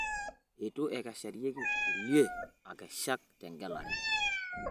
Eitu ekeshareki kulie akeshak tengelare